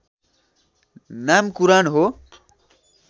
नाम कुरान हो